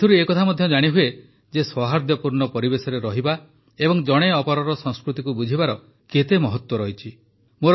ଏଥିରୁ ଏହା ମଧ୍ୟ ଜାଣିହୁଏ ଯେ ସୌହାର୍ଦ୍ଦ୍ୟପୂର୍ଣ୍ଣ ପରିବେଶରେ ରହିବା ଏବଂ ଜଣେ ଅପରର ସଂସ୍କୃତିକୁ ବୁଝିବାର କେତେ ମହତ୍ୱ ରହିଛି